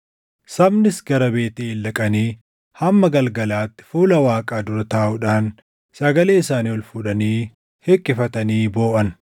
Sabnis gara Beetʼeel dhaqanii hamma galgalaatti fuula Waaqaa dura taaʼuudhaan sagalee isaanii ol fuudhanii hiqqifatanii booʼan.